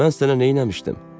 Mən sənə neyləmişdim?